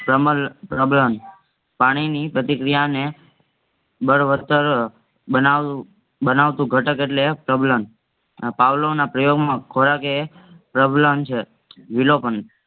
પાણીની પ્રતિક્રિયાને બદવસ્તર બનાવ બનાવતુ ઘાતક એટલે પ્રબલન પાવલોના પ્રયોગમાં ખોરાક એ પ્રબલન છે વિલોપન